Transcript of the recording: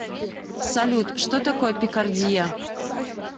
салют что такое пикардия